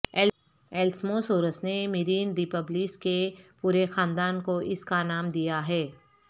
elasmosaurus نے marine reptiles کے پورے خاندان کو اس کا نام دیا ہے